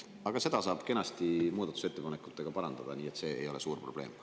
Aga seda saab kenasti muudatusettepanekutega parandada, nii et see ei ole suur probleem.